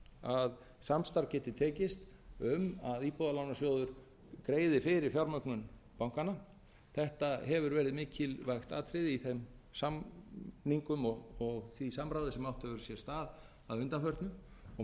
að samstarf geti tekist um að íbúðalánasjóður greiði fyrir fjármögnun bankanna þetta hefur verið mikilvægt atriði í þeim samningum og því samráði sem átt hefur sér stað að undanförnu og